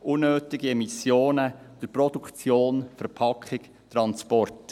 Unnötige Emissionen durch Produktion, Verpackung, Transport.